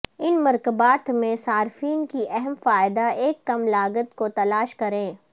ان مرکبات میں صارفین کی اہم فائدہ ایک کم لاگت کو تلاش کریں